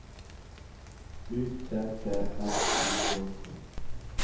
U T T R Y K K